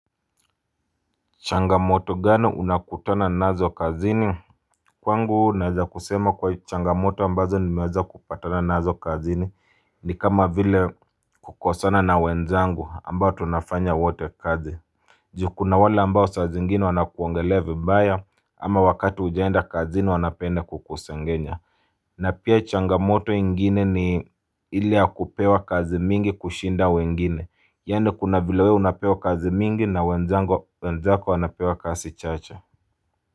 Changamoto gani unakutana nazo kazini? Kwangu naeza kusema kwa changamoto ambazo nimeweza kupatana nazo kazini ni kama vile kukosana na wenzangu ambao tunafanya wote kazi. Juu kuna wale ambao saa zengine wanakuongelea vibaya ama wakati hujaenda kazini wanapende kukusengenya. Na pia changamoto ingine ni ile ya kupewa kazi mingi kushinda wengine Yaani kuna vile wewe unapewa kazi mingi na wenzako wanapewa kazi chache.